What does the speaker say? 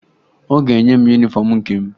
Ọ ga-enye m yunifọmụ nke m